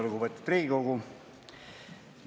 Lugupeetud Riigikogu!